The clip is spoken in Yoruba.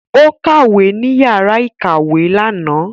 Ó kàwé ní yàrá ìkàwé lànà